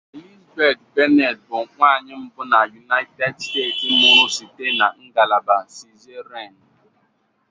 Elizabeth Bennett bụ nwanyị mbụ na United States mụrụ site na ngalaba cesarean